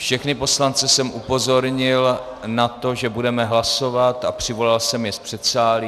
Všechny poslance jsem upozornil na to, že budeme hlasovat, a přivolal jsem je z předsálí.